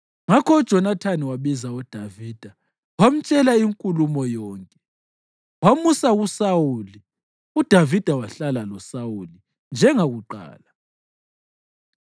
Ngakho uJonathani wabiza uDavida wamtshela inkulumo yonke. Wamusa kuSawuli, uDavida wahlala loSawuli njengakuqala.